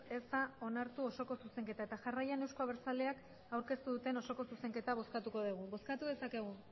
ez da onartu osoko zuzenketa eta jarraian euzko abertzaleak aurkeztu duten osoko zuzenketa bozkatuko dugu bozkatu dezakegu